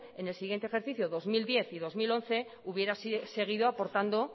en el siguiente ejercicio dos mil diez y dos mil once hubiera seguido aportando